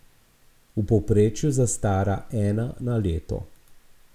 V povprečju zastara ena na leto.